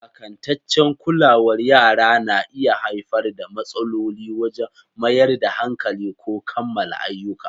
Iyakantaccen kulawar yara na iya haifar da matsaloli wajen mayar da hankali ko kammala ayyuka.